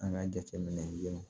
An ka jateminɛ denw